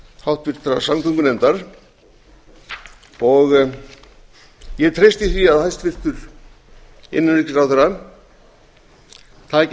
háttvirtrar samgöngunefndar og ég treysti því að hæstvirtur innanríkisráðherra taki